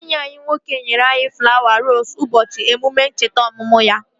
Enyi ya nwoke nyere ya flawa roosu ụbọchị emume ncheta ọmụmụ ya